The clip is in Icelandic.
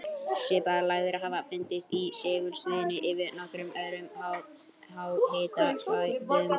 Svipaðar lægðir hafa fundist í segulsviðinu yfir nokkrum öðrum háhitasvæðum.